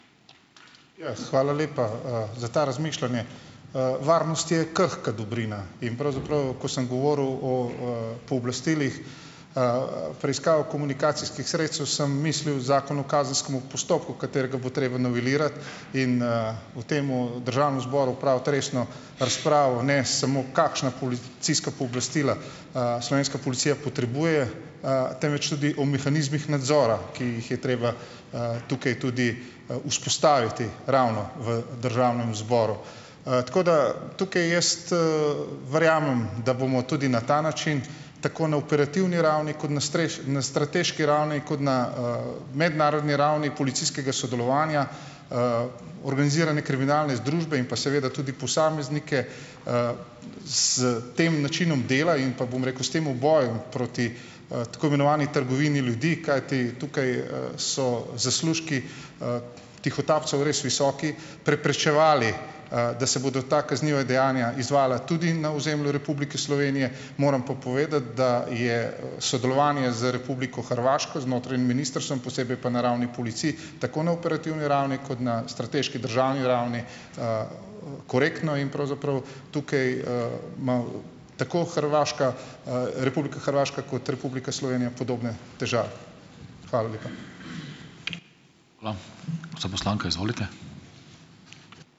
Ja, hvala lepa, za to razmišljanje. Varnost je krhka dobrina in pravzaprav, ko sem govoril o, pooblastilih, preiskav komunikacijskih sredstev, sem mislil Zakon o kazenskemu postopku, katerega bo treba novelirati in, v tem državnem zboru opraviti resno razpravo, ne samo kakšna policijska pooblastila, slovenska policija potrebuje, temveč tudi o mehanizmih nadzora, ki jih je treba, tukaj tudi, vzpostaviti ravno v državnem zboru. tako, da tukaj jaz, verjamem, da bomo tudi na ta način, tako na operativni ravni, kot na na strateški ravni, kot na, mednarodni ravni policijskega sodelovanja, organizirane kriminalne združbe in pa seveda tudi posameznike, s tem načinom dela in pa, bom rekel, s tem bojem proti, tako imenovani trgovini ljudi, kajti tukaj, so, zaslužki, tihotapcev res visoki, preprečevali, da se bodo ta kazniva dejanja izvajala tudi na ozemlju Republike Slovenije. Moram pa povedati, da je, sodelovanje z Republiko Hrvaško, z notranjim ministrstvom, posebej pa na ravni policij, tako na operativni ravni kot na strateški državni ravni, korektno in pravzaprav tukaj, ima tako Hrvaška, Republika Hrvaška, kot Republika Slovenija podobne težave. Hvala lepa.